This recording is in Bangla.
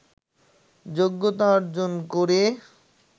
যোগ্যতা অর্জন করে